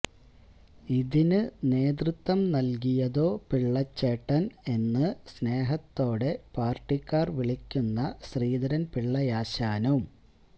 ഇതിന് നേതൃത്വം നല്കിയതോ പിള്ളച്ചേട്ടന് എന്ന് സ്നേഹത്തോടെ പാര്ട്ടിക്കാര് വിളിക്കുന്ന ശ്രീധരന്പിള്ളയാശാനും